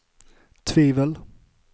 tvivel